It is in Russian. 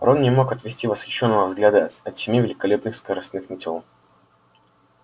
рон не мог отвести восхищённого взгляда от семи великолепных скоростных метёл